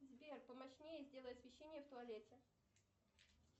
сбер помощнее сделай освещение в туалете